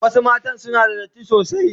Wasu mata sim una da datti sosai.